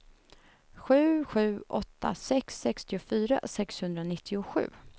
sju sju åtta sex sextiofyra sexhundranittiosju